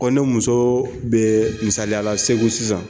Ko ne muso bɛ misaliyala segu sisan